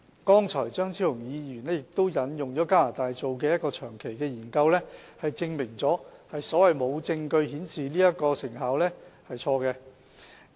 剛才，張超雄議員亦引用了加拿大的一個長期研究，證明"無證據顯示成效"的說法是錯誤的。